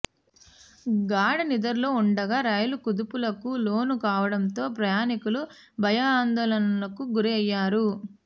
గాఢనిద్రలో ఉండగా రైలు కుదుపులకు లోను కావడంతో ప్రయాణికులు భయాందోళనలకు గురయ్యారు